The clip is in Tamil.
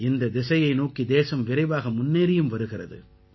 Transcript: இந்தத் திசையை நோக்கி தேசம் விரைவாக முன்னேறியும் வருகிறது